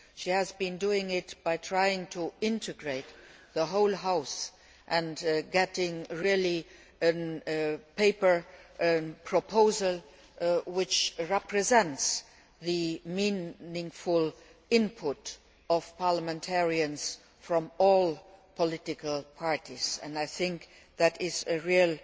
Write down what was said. She has been doing it by trying to integrate the whole House and getting a paper proposal which represents the meaningful input of parliamentarians from all political parties, and I think that is a real